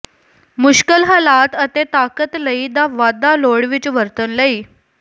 ਮੁਸ਼ਕਲ ਹਾਲਾਤ ਅਤੇ ਤਾਕਤ ਲਈ ਦਾ ਵਾਧਾ ਲੋੜ ਵਿੱਚ ਵਰਤਣ ਲਈ